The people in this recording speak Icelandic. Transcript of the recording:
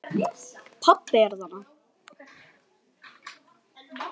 Pabbi er þarna.